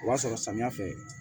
O b'a sɔrɔ samiya fɛ